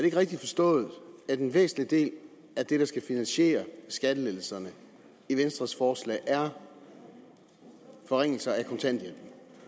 ikke rigtigt forstået at en væsentlig del af det der skal finansiere skattelettelserne i venstres forslag er forringelser af kontanthjælpen